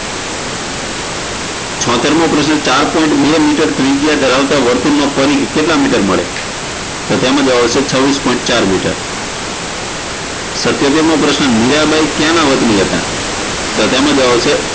છોતેરમો પ્રશ્ન ચાર point બે મીટર ત્રિજ્યા ધરાવતા વર્તુળનો પરિઘ કેટલા મિટર મળે તો તેનો જવાબ છે છવીસ પોઇન્ટ ચાર મીટર સિતોતેરમો પ્રશ્ન મીરાંબાઈ ક્યાંના વતની હતા તો તેમનો જવાબ આવશે